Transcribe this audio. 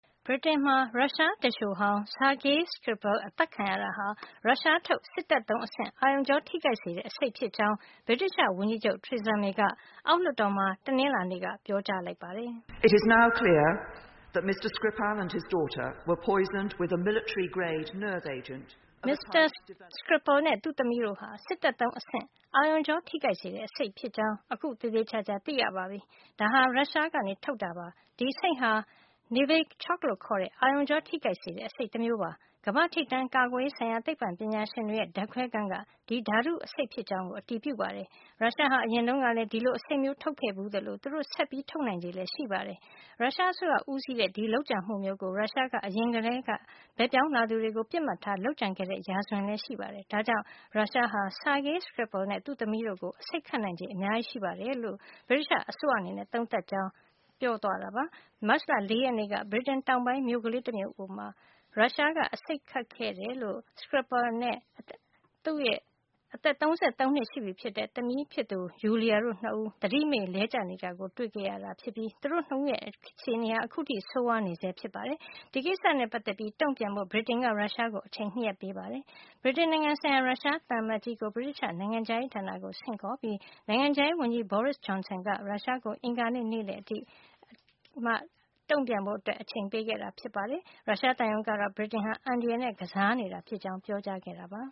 ဗြိတိန်မှာ ရုရှားသူလျှိုဟောင်း Sergei Skripal အဆိပ်ခတ်ခံရတာဟာ ရုရှားထုတ် စစ်တပ်သုံးအဆင့် အာရုံကြောထိခိုက်စေတဲ့ အဆိပ်ဖြစ်ကြောင်း ဗြိတိသျှဝန်ကြီးချုပ် Theresa May က အောက်လွှတ်တော်မှာ တနင်္လာနေ့က ပြောကြားလိုက်ပါတယ်။ "မစ္စတာ Skripal နဲ့ သူ့သမီးတို့ဟာ စစ်တပ်သုံးအဆင့် အာရုံကြောထိခိုက်စေတဲ့ အဆိပ်သင့်ခဲ့တာ ဖြစ်ကြောင်း အခုသေသေချာချာ သိပါပြီ။ ဒါဟာ ရုရှားက ထုတ်တာပါ။ ဒီအဆိပ်ဟာ Novichok လို့ခေါ်တဲ့ အာရုံကြောထိခိုက်စေတဲ့ အဆိပ်တမျိုးပါ။ ကမ္ဘာ့ထိပ်တန်း ကာကွယ်ရေးဆိုင်ရာ သိပ္ပံပညာရှင်တွေရဲ့ ဓါတ်ခွဲခန်းက ဒီဓါတုအဆိပ်ဖြစ်ကြောင်း အတည်ပြုပါတယ်။ ရုရှားဟာ အရင်တုန်းကလည်း ဒီလိုအဆိပ်မျိုးထုတ်ခဲ့ဘူး သလို သူတို့ဆက်ပြီး ထုတ်နိုင်ချေလည်း ရှိပါတယ်။ ရုရှားအစိုးရ ဦးစီးတဲ့ ဒီလိုလုပ်ကြံမှုမျိုးကို ရုရှားက အရင်ကလည်း ဘက်ပြောင်းလာသူတွေကို ပစ်မှတ်ထား လုပ်ကြံခဲ့တဲ့ရာဇဝင်ရှိပါတယ်။ ဒါကြောင့် ရုရှားဟာ Sergei Skripal နဲ့ သူ့သမီးတို့ကို အဆိပ်ခတ် နိုင်ချေအများကြီးရှိတယ်လို့ ဗြိတိသျှအစိုးရအနေနဲ့ သုံးသပ်ပါတယ်။" မတ်လ ၄ ရက်နေ့က ဗြိတိန်တောင်ပိုင်းက မြို့ကလေးတမြို့မှာ အာရုံကြောထိခိုက်စေတဲ့ အဆိပ်သုံးပြီး အဆိပ်ခတ်ခံခဲ့ရတဲ့ Skripal နဲ့ အသက် ၃၃ နှစ် ရှိပြီဖြစ်တဲ့ သမီးဖြစ်သူ Yulia တို့ ၂ ဦး သတိမေ့လဲကျနေတာကို တွေ့ခဲ့ရတာ ဖြစ်ပြီး သူတို့ ၂ ဦးရဲ့ အခြေနေဟာ ခုထိ ဆိုးဝါးနေဆဲဖြစ်ပါတယ်။ ဒီကိစ္စနဲ့ ပတ်သက်ပြီး တုန့်ပြန်ဖို့ ဗြိတိန်က ရုရှားကို အချိန် ၂ ရက်ပေးခဲ့တာပါ။ ဗြိတိန်နိုင်ငံဆိုင်ရာ ရုရှားသံအမတ်ကြီး Alexander Vladimirovich Yakovenko ကို ဗြိတိသျှ နိုင်ငံခြားရေးဌာနကို ဆင့်ခေါ်ပြီး နိုင်ငံခြားရေးဝန်ကြီး Boris Johnso က ရုရှားကို အင်္ဂါနေ့ နေ့လည်အထိ အချိန်ပေးခဲ့တာ ဖြစ်ပါတယ်။ ရုရှားသံရုံးကတော့ ဗြိတိန်ဟာ အန္တရာယ်နဲ့ ကစားနေတာဖြစ်ကြောင်း ပြောကြားခဲ့ပါ